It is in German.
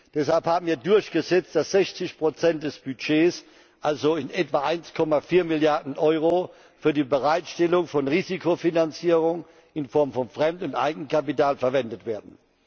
Deshalb haben wir durchgesetzt, dass 60 des Budgets, also in etwa 1,4 Milliarden Euro, für die Bereitstellung von Risikofinanzierung in Form von Fremd und Eigenkapital verwendet werden.